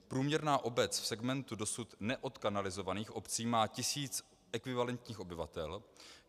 Průměrná obec v segmentu dosud neodkanalizovaných obcí má tisíc ekvivalentních obyvatel.